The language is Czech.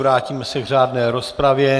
Vrátíme se k řádné rozpravě.